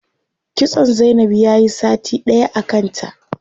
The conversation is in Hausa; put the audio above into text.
Kitson zainab yayi sati ɗaya a kanta.